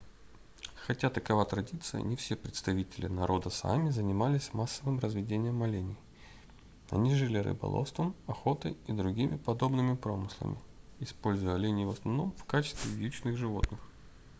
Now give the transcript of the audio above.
хотя такова традиция не все представители народа саами занимались массовым разведением оленей они жили рыболовством охотой и другими подобными промыслами используя оленей в основном в качестве вьючных животных